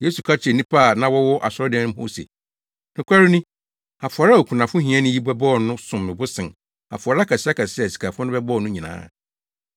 Yesu ka kyerɛɛ nnipa a na wɔwɔ asɔredan mu hɔ no se, “Nokware ni, afɔre a okunafo hiani yi bɛbɔɔ no som bo sen afɔre akɛseakɛse a asikafo no bɛbɔɔ no nyinaa.